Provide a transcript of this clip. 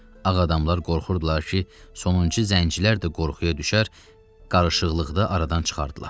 Ağ adamlar qorxurdular ki, sonuncu zəncilər də qorxuya düşər, qarışıqlıqda aradan çıxardılar.